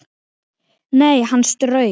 Nei, hann strauk